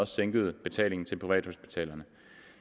sænkede betalingen til privathospitalerne